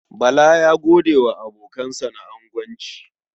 Bala ya gode wa abokansa na agonci.